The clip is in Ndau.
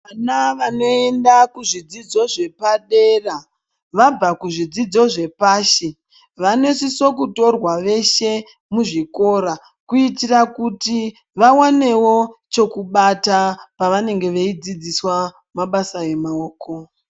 Vana vanoenda kuzvidzidzo zvepadera vabva kuzvidzidzo zvepashi vanosise kutorwa veshe muzvikora kuitira kuti vawanewo chokubata pavanenge veidzidziswa mabasa emaoko.